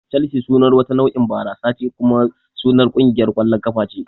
Chelsea sunar wata nau'in barasa ce kuma sunar kungiyar ƙwallon kafa ce